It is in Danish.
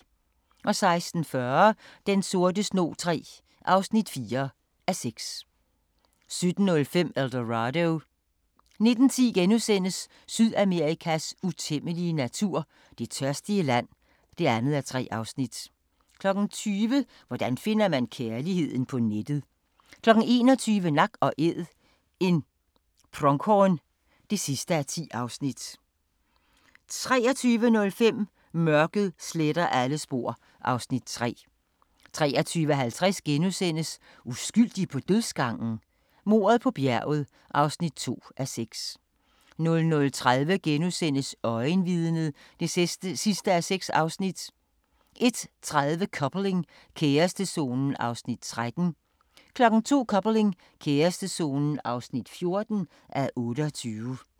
16:40: Den sorte snog III (4:6) 17:05: El Dorado 19:10: Sydamerikas utæmmelige natur – Det tørstige land (2:3)* 20:00: Hvordan finder man kærligheden på nettet? 21:00: Nak & Æd – en pronghorn (10:10) 23:05: Mørket sletter alle spor (Afs. 3) 23:50: Uskyldig på dødsgangen? Mordet på bjerget (2:6)* 00:30: Øjenvidnet (6:6)* 01:30: Coupling – kærestezonen (13:28) 02:00: Coupling – kærestezonen (14:28)